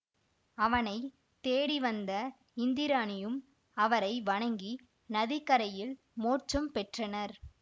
அவனை தேடிவந்த இந்திராணியும் அவரை வணங்கி நதி கரையில் மோட்சம் பெற்றனர்